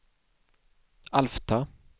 Alfta